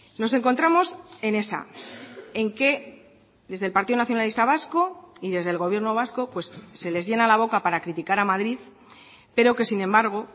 nos encontramos en esa en que desde el partido nacionalista vasco y desde el gobierno vasco se les llena la boca para criticar a madrid pero que sin embargo